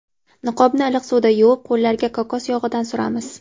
Niqobni iliq suvda yuvib, qo‘llarga kokos yog‘idan suramiz.